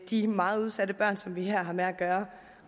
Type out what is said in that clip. de meget udsatte børn som vi her har med at gøre